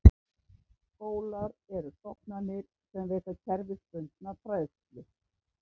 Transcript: Skólar eru stofnanir sem veita kerfisbundna fræðslu.